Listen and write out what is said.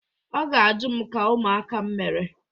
Ọ ga-ajụ m ka ụmụaka m mere.